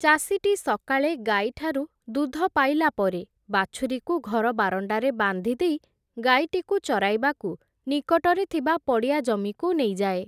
ଚାଷୀଟି ସକାଳେ ଗାଈ ଠାରୁ ଦୁଧ ପାଇଲା ପରେ ବାଛୁରୀକୁ ଘର ବାରଣ୍ଡାରେ ବାନ୍ଧିଦେଇ ଗାଈଟିକୁ ଚରାଇବାକୁ ନିକଟରେ ଥିବା ପଡ଼ିଆ ଜମିକୁ ନେଇଯାଏ ।